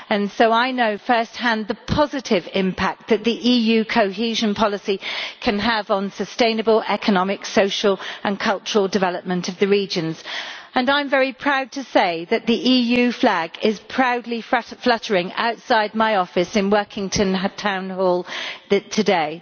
So I know first hand the positive impact that the EU cohesion policy can have on sustainable economic, social and cultural development of the regions and I am very proud to say that the EU flag is proudly fluttering outside my office in Workington Town Hall today.